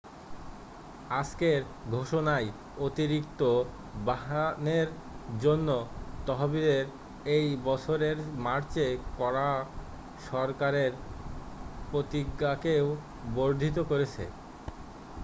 আজকের ঘোষণায় অতিরিক্ত বাহনের জন্য তহবিলের এই বছরের মার্চে করা সরকারের প্রতিজ্ঞাকেও বর্ধিত করেছে